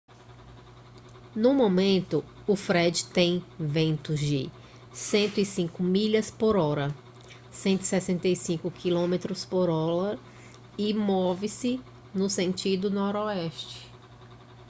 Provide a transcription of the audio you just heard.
no momento o fred tem ventos de 105 milhas por hora 165 km por hora e move-se no sentido noroeste